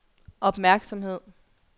opmærksomhed